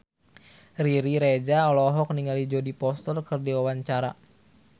Riri Reza olohok ningali Jodie Foster keur diwawancara